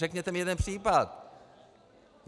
Řekněte mi jeden případ!